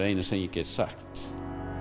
eina sem ég get sagt